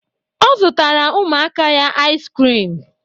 Ọ zụtara ụmụaka ya ais krim